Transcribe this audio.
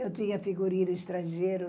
Eu tinha figurino estrangeiro.